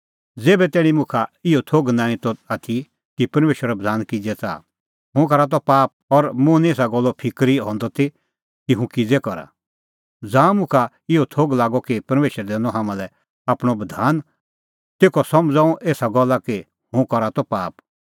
ज़ेभै तैणीं मुखा इहअ थोघ नांईं त आथी कि परमेशरो बधान किज़ै च़ाहा हुंह करा त पाप और मुंह निं एसा गल्ले फिकर हंदी ती कि हुंह किज़ै करा ज़ांऊं मुखा इहअ थोघ लागअ कि परमेशरै दैनअ हाम्हां लै आपणअ बधान तेखअ समझ़अ हुंह एसा गल्ला कि हुंह करा त पाप